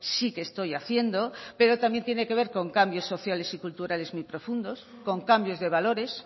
sí que estoy haciendo pero también tiene que ver con cambios sociales y culturales muy profundos con cambios de valores